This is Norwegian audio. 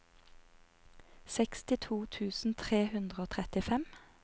sekstito tusen tre hundre og trettifem